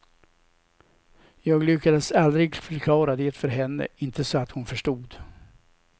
Jag lyckades aldrig förklara det för henne, inte så att hon förstod.